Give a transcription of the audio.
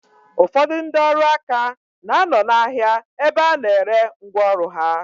Ụfọdụ ndị ọrụ aka na-anọ n'ahia ebe a na-ere ngwa ọrụ ha.